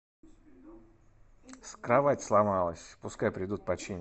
кровать сломалась пускай придут починят